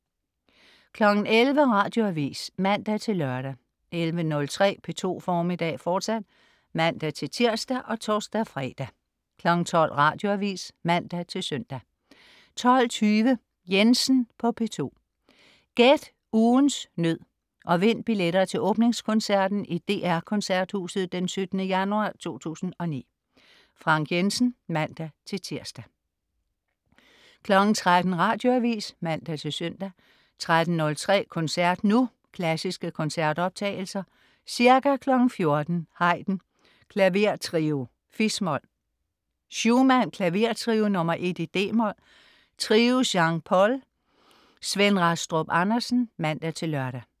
11.00 Radioavis (man-lør) 11.03 P2 Formiddag, fortsat (man-tirs og tors-fre) 12.00 Radioavis (man-søn) 12.20 Jensen på P2. Gæt ugens nød og vind billetter til åbningskoncerten i DR Koncerthuset 17. januar 2009. Frank Jensen (man-tirs) 13.00 Radioavis (man-søn) 13.03 Koncert Nu. Klassiske koncertoptagelser. Ca. 14.00 Haydn: Klavertrio, fis-mol. Schumann: Klavertrio nr. 1, d-mol. Trio Jean Paul. Svend Rastrup Andersen (man-lør)